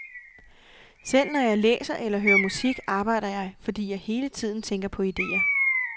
Selv når jeg læser eller hører musik, arbejder jeg, fordi jeg hele tiden tænker på ideer.